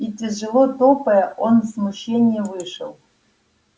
и тяжело топая он в смущении вышел